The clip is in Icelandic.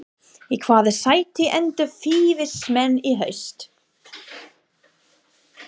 Í hvaða sæti enda Fylkismenn í haust?